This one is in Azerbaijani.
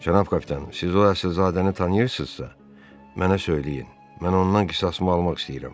Cənab Kaplan, siz o Əsilzadəni tanıyırsınızsa, mənə söyləyin, mən ondan qisasımı almaq istəyirəm.